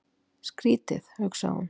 Skrýtið, hugsaði hún.